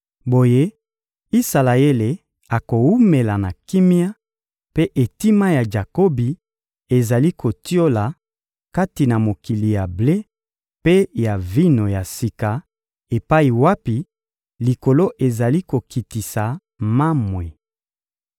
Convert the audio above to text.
Boye Isalaele akowumela na kimia, mpe etima ya Jakobi ezali kotiola kati na mokili ya ble mpe ya vino ya sika, epai wapi likolo ezali kokitisa mamwe.